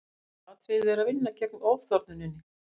aðalatriðið er að vinna gegn ofþornuninni